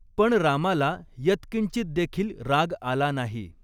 पण रामाला यत्किंचित देखील राग आला नाही.